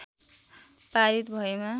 पारित भएमा